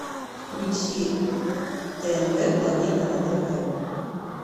включи тнв планета на тв